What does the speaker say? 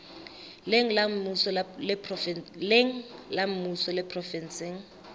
leng la mmuso le provenseng